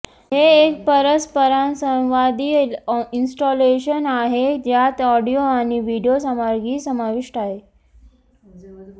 हे एक परस्परसंवादी इंस्टॉलेशन आहे ज्यात ऑडिओ आणि व्हिडिओ सामग्री समाविष्ट आहे